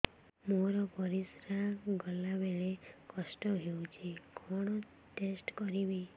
ମୋର ପରିସ୍ରା ଗଲାବେଳେ କଷ୍ଟ ହଉଚି କଣ ଟେଷ୍ଟ କରିବି